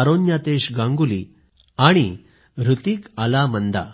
अरोन्यातेश गांगुली आणि हृतिक अलामंदा